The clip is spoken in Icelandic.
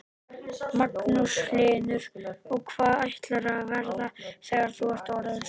Magnús Hlynur: Og hvað ætlarðu að verða þegar þú ert orðin stór?